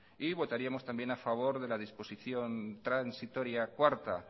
y votaríamos también a favor de la disposición transitoria cuarta